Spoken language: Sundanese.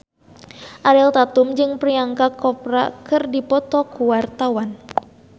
Ariel Tatum jeung Priyanka Chopra keur dipoto ku wartawan